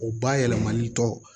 O bayɛlɛmani tɔw